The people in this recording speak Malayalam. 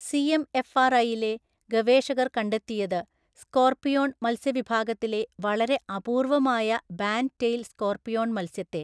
സിഎംഎഫ്ആർഐയിലെ ഗവേഷകർ കണ്ടെത്തിയത് സ്കോർപിയോൺ മത്സ്യവിഭാഗത്തിലെ വളരെ അപൂർവമായ ബാൻഡ് ടെയിൽ സ്കോർപിയോൺ മത്സ്യത്തെ